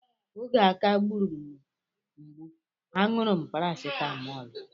Oge aká gburu m mgbu, a ṅụrụ m parasitamọl.